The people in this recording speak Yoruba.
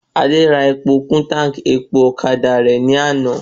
Adé rà epo kún táńkì epo ọ̀kadà rẹ̀ ní àná